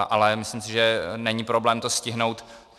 Ale myslím si, že není problém to stihnout.